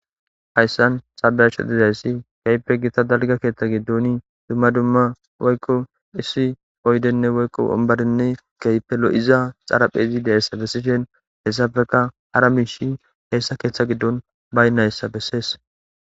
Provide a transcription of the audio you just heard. Hayisani ta beyashe dizayisi kehippe gita daliga keeththa giddoni dumma dumma woyikko issi oyidenne woyikko woniberenne kehippe loiza xaraphphezi deizayisa besishini hesappeka hara mishshiy esa keththa giddoni bayinayisa besees